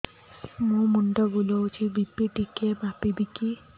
ମୋ ମୁଣ୍ଡ ବୁଲାଉଛି ବି.ପି ଟିକିଏ ମାପିବ କି